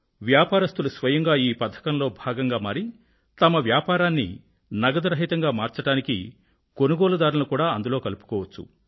వ్యాపారస్తులు స్వయంగా ఈ పథకంలో భాగంగా మారి తమ వ్యాపారాన్ని నగదురహితంగా మార్చడానికి కొనుగోలుదారులను కూడా అందులో కలుపుకోవచ్చు